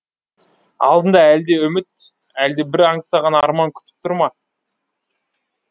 алдында әлде үміт әлде бір аңсаған арман күтіп тұр ма